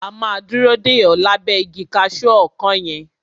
A máa dúró dè o lábẹ́ igi kaṣu ọkán yẹn.